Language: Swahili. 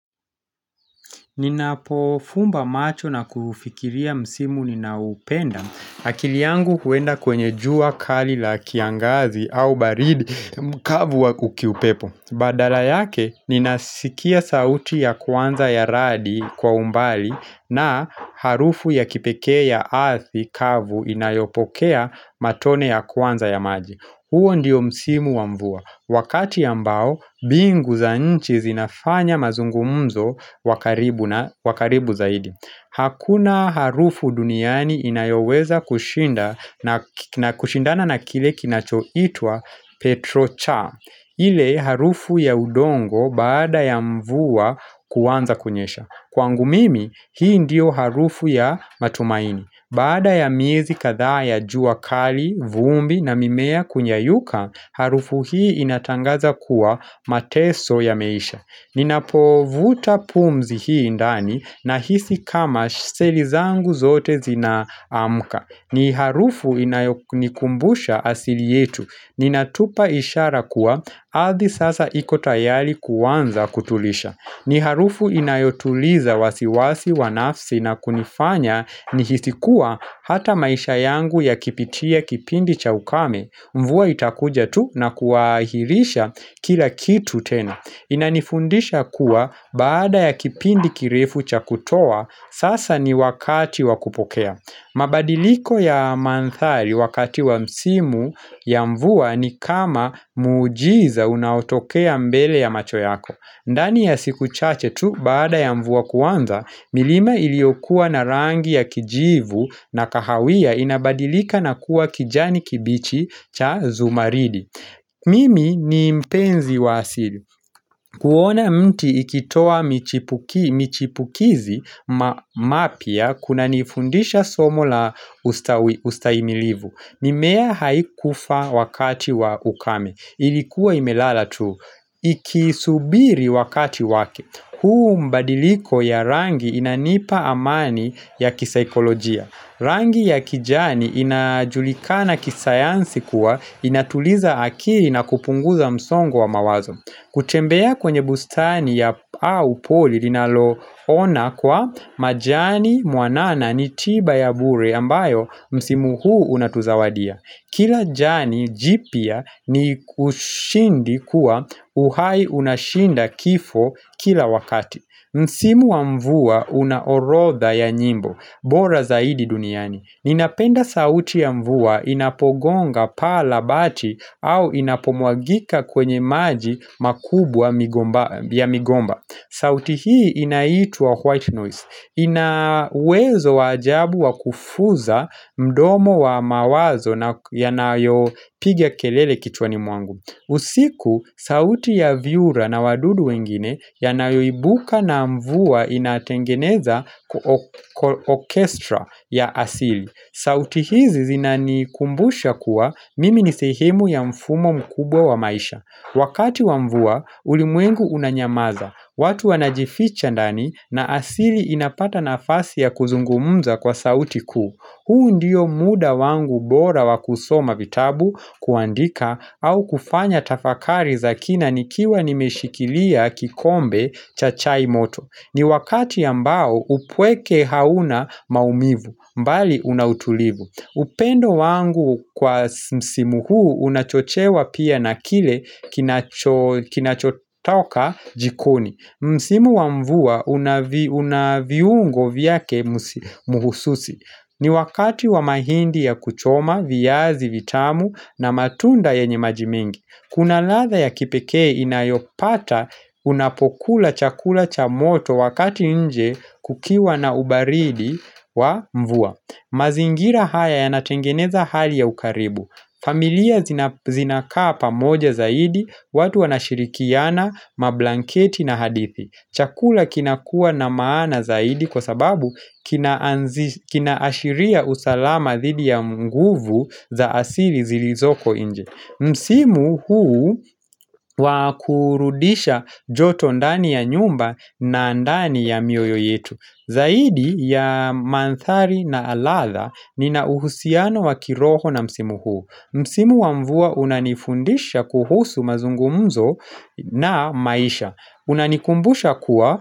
Ninapo fumba macho na kufikiria msimu ninao upenda, akili yangu huenda kwenye jua kali la kiangazi au baridi mkavu wa ku kiupepo. Badala yake, ninasikia sauti ya kwanza ya radi kwa umbali na harufu ya kipekee ya ardhi kavu inayopokea matone ya kwanza ya maji. Huo ndiyo msimu wa mvua, wakati ambao mbingu za nchi zinafanya mazungumzo wa karibu zaidi Hakuna harufu duniani inayoweza kushindana na kile kinacho itwa Petrocha ile harufu ya udongo baada ya mvua kuanza kunyesha Kwangu mimi, hii ndiyo harufu ya matumaini Baada ya miezi kadhaa ya jua kali, vumbi na mimea kuyayuka, harufu hii inatangaza kuwa mateso yameisha. Ninapovuta pumzi hii ndani nahisi kama seli zangu zote zina amka. Ni harufu inayo nikumbusha asili yetu. Ninatupa ishara kuwa, ardhi sasa iko tayari kuanza kutulisha. Ni harufu inayotuliza wasiwasi, wa nafsi na kunifanya nihisi kuwa hata maisha yangu yakipitia kipindi cha ukame, mvua itakuja tu na kuahirisha kila kitu tena. Inanifundisha kuwa baada ya kipindi kirefu cha kutoa, sasa ni wakati wa kupokea. Mabadiliko ya mandhari wakati wa msimu ya mvua ni kama miujiza unautokea mbele ya macho yako. Ndani ya siku chache tu, baada ya mvua kuanza, milima iliokuwa na rangi ya kijivu na kahawia inabadilika na kuwa kijani kibichi cha zumaridi. Mimi ni mpenzi wa asili. Kuona mti ikitoa michipukizi mapya kunanifundisha somo la ustahimilivu. Mimea haikufa wakati wa ukame. Ilikuwa imelala tu ikisubiri wakati wake huu mbadiliko ya rangi inanipa amani ya kisaikolojia Rangi ya kijani inajulikana kisayansi kuwa inatuliza akili na kupunguza msongo wa mawazo kutembea kwenye bustani ya au poli linalo ona kwa majani mwanana ni tiba ya bure ambayo msimu huu unatuzawadia Kila jani jipya ni kushindi kuwa uhai unashinda kifo kila wakati. Msimu wa mvua una orodha ya nyimbo, bora zaidi duniani. Ninapenda sauti ya mvua inapogonga paa la bati au inapomwagika kwenye maji makubwa ya migomba. Sauti hii inaitwa white noise, ina wezo wa ajabu wa kufuza mdomo wa mawazo na yanayopiga kelele kichwani mwangu usiku, sauti ya vyura na wadudu wengine yanayoibuka na mvua inatengeneza kwa orchestra ya asili sauti hizi zinanikumbusha kuwa mimi ni sehimu ya mfumo mkubwa wa maisha Wakati wa mvua, ulimwengu unanyamaza, watu wanajificha ndani na asili inapata nafasi ya kuzungumza kwa sauti kuu. Huu ndiyo muda wangu bora wa kusoma vitabu kuandika au kufanya tafakari za kina nikiwa nimeshikilia kikombe cha chai moto. Ni wakati ambao upweke hauna maumivu, mbali una utulivu. Upendo wangu kwa msimu huu unachochewa pia na kile kinacho kinachotoka jikoni Msimu wa mvua una viungo vyake muhususi ni wakati wa mahindi ya kuchoma, viazi, vitamu na matunda yenye maji mengi Kuna ladha ya kipekee inayopata unapokula chakula cha moto wakati nje kukiwa na ubaridi wa mvua mazingira haya yanatengeneza hali ya ukaribu familia zinakaa pamoja zaidi watu wanashirikiana, mablanketi na hadithi Chakula kinakua na maana zaidi kwa sababu kina anzisha kina ashiria usalama dhidi ya nguvu za asili zilizoko nje Msimu huu wa kurudisha joto ndani ya nyumba na ndani ya mioyo yetu Zaidi ya mandhari na halala nina uhusiano wa kiroho na msimu huu Msimu wa mvua unanifundisha kuhusu mazungumzo na maisha Unanikumbusha kuwa.